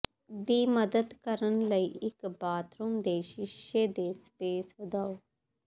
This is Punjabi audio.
ਦੀ ਮਦਦ ਕਰਨ ਲਈ ਇੱਕ ਬਾਥਰੂਮ ਦੇ ਸ਼ੀਸ਼ੇ ਦੇ ਸਪੇਸ ਵਧਾਓ